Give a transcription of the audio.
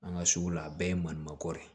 An ka sugu la a bɛɛ ye malimanko ye